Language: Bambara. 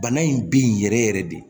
Bana in bi yɛrɛ yɛrɛ de